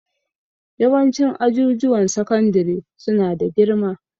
Yawancin ajujuwan sakandare su na da girma